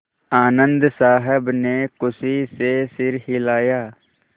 आनन्द साहब ने खुशी से सिर हिलाया